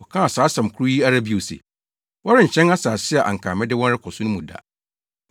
Wɔkaa saa asɛm koro yi ara bio se, “Wɔrenhyɛn asase a anka mede wɔn rekɔ so no mu da.”